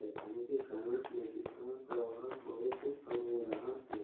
चट्टानों के कारण नदी का प्रवाह बहुत कम हो रहा है।